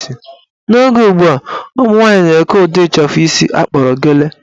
N'oge ugbua, ụmụnwaanyị na-eke ụdị ịchafụ isi akpọrọ gele